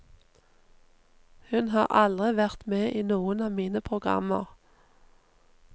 Hun har aldri vært med i noen av mine programmer.